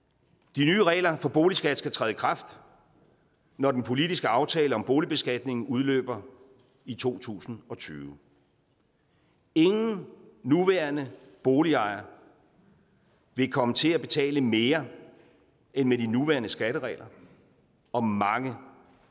de nye regler for boligskat skal træde i kraft når den politiske aftale om boligbeskatning udløber i to tusind og tyve ingen nuværende boligejere vil komme til at betale mere end med de nuværende skatteregler og mange